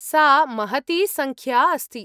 सा महती सङ्ख्या अस्ति।